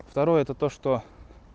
второй это то что